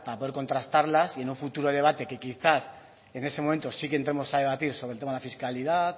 para poder contrastarlas y en futuro debate que quizás en ese momento sí que entraremos a debatir sobre el tema de la fiscalidad